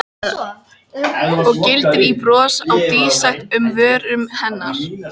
Og glittir í bros á dísæt um vörum hennar.